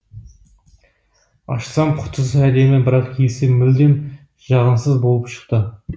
ашсам құтысы әдемі бірақ иісі мүлдем жағымсыз болып шықты